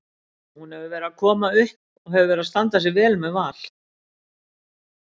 Hún hefur verið að koma upp og hefur verið að standa sig vel með Val.